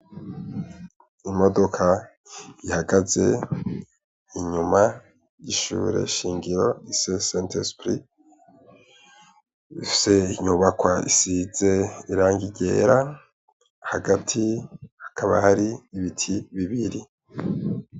Imodoka ihagaze inyuma gishure shingiro ise santa spris ifise inyubakwa isize iranga irera hagati hakaba hari ibiti bibiri.